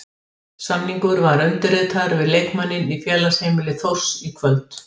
Samningur var undirritaður við leikmanninn í félagsheimili Þórs í kvöld.